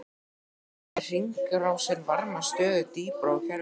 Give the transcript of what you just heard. Þannig fær hringrásin varma stöðugt dýpra úr kerfinu.